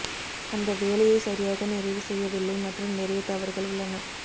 அந்த வேலையை சரியாக நிறைவு செய்யவில்லை மற்றும் நிறைய தவறுகள் உள்ளன